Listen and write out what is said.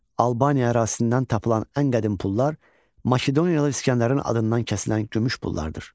Albaniya ərazisindən tapılan ən qədim pullar Makedoniyalı İsgəndərin adından kəsilən gümüş pullardır.